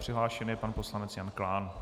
Přihlášen je pan poslanec Jan Klán.